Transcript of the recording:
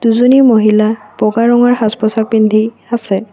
দুজনী মহিলা বগা ৰঙৰ সাজ-পোছাক পিন্ধি আছে।